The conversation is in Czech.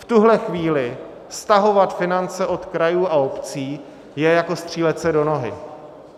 V tuhle chvíli stahovat finance od krajů a obcí je jako střílet se do nohy.